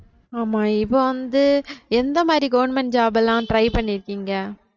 ஆமா இப்ப வந்து எந்த மாதிரி government job எல்லாம் try பண்ணிருக்கீங்க